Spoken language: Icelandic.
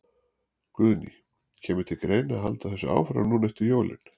Guðný: Kemur til greina að halda þessu áfram núna eftir jólin?